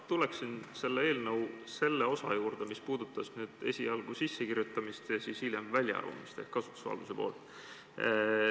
Ma tuleksin eelnõu selle osa juurde, mis puudutas esialgset sissekirjutamist ja hilisemat väljaarvamist ehk kasutusvaldusega seonduvat.